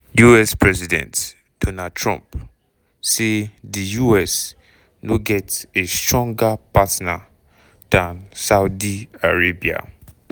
us president donald trump say di us no get "a stronger partner" dan saudi arabia.